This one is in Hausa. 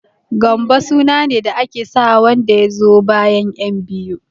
Gambo sunane da ake sawa wanda yazo bayan ƴan biyu.